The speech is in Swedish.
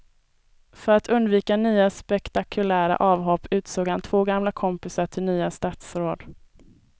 För att undvika nya spektakulära avhopp utsåg han två gamla kompisar till nya statsråd.